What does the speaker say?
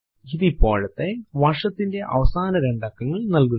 ഇത് ഇപ്പോഴത്തെ വർഷത്തിന്റെ അവസാന രണ്ട് അക്കങ്ങൾ നൽകുന്നു